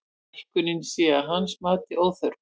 Hækkunin sé að hans mati óþörf